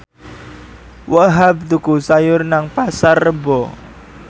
Wahhab tuku sayur nang Pasar Rebo